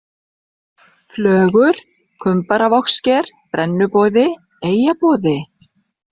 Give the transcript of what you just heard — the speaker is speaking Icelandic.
Flögur, Kumbaravogssker, Brennuboði, Eyjaboði